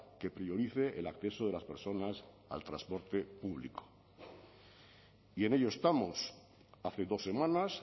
que priorice el acceso de las personas al transporte público y en ello estamos hace dos semanas